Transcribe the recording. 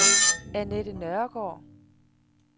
Annette Nørregaard